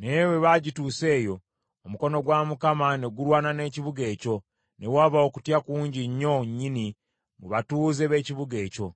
Naye bwe baagituusa eyo, omukono gwa Mukama ne gulwana n’ekibuga ekyo, ne waba okutya kungi nnyo nnyini mu batuuze b’ekibuga ekyo.